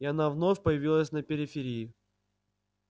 и она вновь появилась на периферии